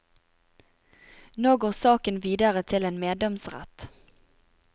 Nå går saken videre til en meddomsrett.